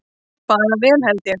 Bara vel held ég.